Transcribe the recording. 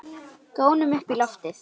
Gónum upp í loftið.